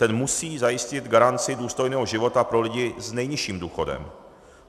Ten musí zajistit garanci důstojného života pro lidi s nejnižším důchodem.